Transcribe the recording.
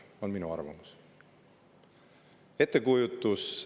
See on minu arvamus.